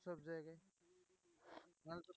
সব জায়গায়